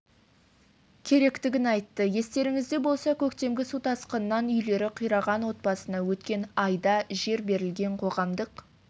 керектігін айтты естеріңізде болса көктемгі су тасқынынан үйлері қираған отбасына өткен айда жер берілген қоғамдық